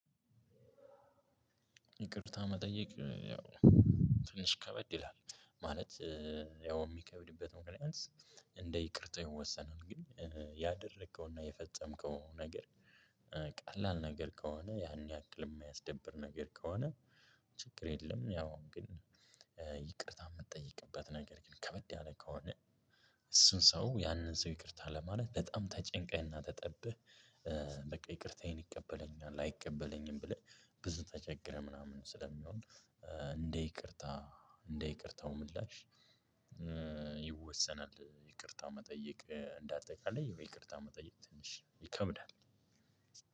ይቅርታ መጠየቅ ያው ትንሽ ከበድ ይላል ማለት ያው የሚከብድበት ምክንያት እንደ ይቅርታው የወሰነውን ግን ያደረከውና የፈጸምከው ነገር ቀላል ነገር ከሆነ ያን ያክል የማያስደብር ነገር ከሆነ ችግር የለም። ያው ግን ይቅርታ የምትጠይቅበት ነገር ግን ከበድ ያለ ከሆነ እሱን ሰው ያንን ሰው ይቅርታ ለማለት በጣም ተጨንቀህና ተጠብህ። በቃ ይቅርታዬን ይቀበለኛል አይቀበለኝም ብለህ ብዙ ተቸግረህ ምናምን ስለሚሆን እንደ ይቅርታ እንደ ይቅርታው ምላሽ ይወሰናል። ይቅርታ መጠየቅ እንደ አጠቃላይ ይቅርታ መጠየቅ ትንሽ ይከብዳል።